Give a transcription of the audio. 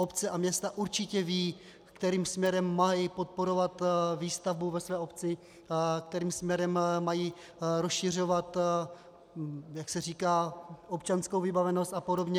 Obce a města určitě vědí, kterým směrem mají podporovat výstavbu ve své obci, kterým směrem mají rozšiřovat, jak se říká, občanskou vybavenost a podobně.